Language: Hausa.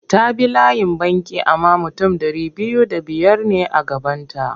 Ta bi layin banki amma mutum ɗari biyu da biyar ne a gabanta.